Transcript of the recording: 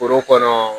Foro kɔnɔ